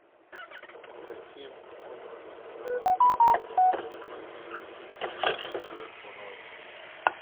каким образом я могу подтвердить свою бронь